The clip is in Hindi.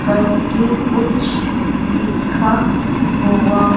करके कुछ लिखा हुआ--